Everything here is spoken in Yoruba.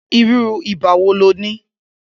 Irù ibà wó ló ni?